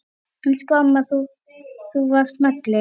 Elsku amma, þú varst nagli.